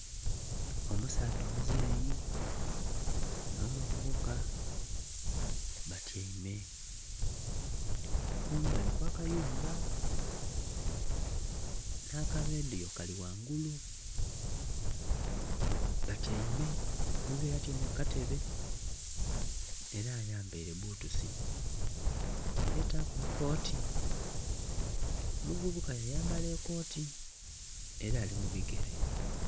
Omusaadha omuzei nho muvubuka batyeime kumbali okwaka yumba nha kaledhuliyo kali ghangulu batyeime omuzei atyeime kukatebe era ayambere buthusi yataku ekooti, omuvubuka yayambala ekooti era alimubigere